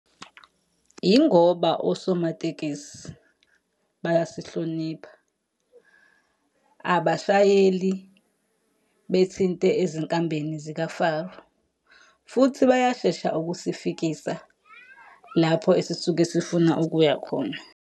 Yingoba osomatekisi, bayasihlonipha. Abashayeli bethinte ezinkambeni zikaFaro. Futhi bayashesha ukusifikisa lapho esisuke sifuna ukuya khona.